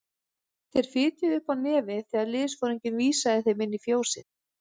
Þeir fitjuðu upp á nefið þegar liðsforinginn vísað þeim inn í fjósið.